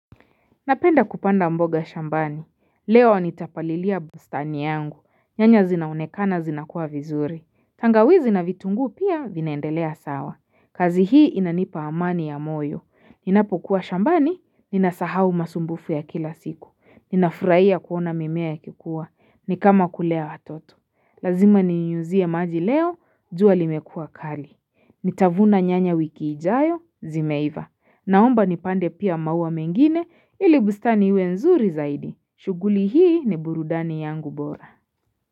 Napenda kupanda mboga shambani. Leo nitapalilia bustani yangu. Nyanya zinaonekana zinakua vizuri. Tangawizi na vitunguu pia vinaendelea sawa. Kazi hii inanipa amani ya moyo. Ninapokuwa shambani, ninasahau masumbufu ya kila siku. Ninafurahia kuona mimea ikikua. Ni kama kulea watoto. Lazima ninyunyuzie maji leo, jua limekuwa kali. Nitavuna nyanya wiki ijayo, zimeiva. Naomba nipande pia maua mengine ili bustani iwe nzuri zaidi. Shughuli hii ni burudani yangu bora.